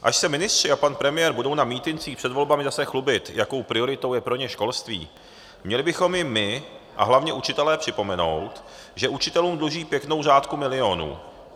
Až se ministři a pan premiér budou na mítincích před volbami zase chlubit, jakou prioritou je pro ně školství, měli bychom jim my a hlavně učitelé připomenout, že učitelům dluží pěknou řádku milionů.